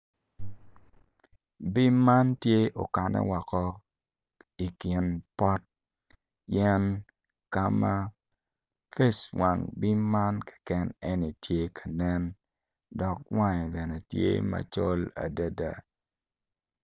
Bim man tye okane woko i ki pot yen ka ma wang bim man keken aye tye ka nen dok wange bene tye macol adada